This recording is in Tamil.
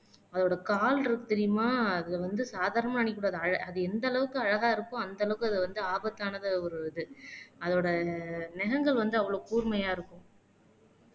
அதோட கால் இருக்கு தெரியுமா அது வந்து சாதாரண நினைக்கக்கூடாது அஹ் அது எந்த அளவுக்கு அழகா இருக்க அந்த அளவுக்கு அது வந்து ஆபத்தானது ஒரு இது அதோட நகங்கள் வந்து அவ்வளவு கூர்மையா இருக்கும்